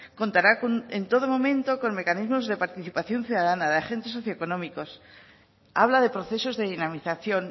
contará en todo momento con mecanismos de participación ciudadana de agentes socioeconómicos habla de procesos de dinamización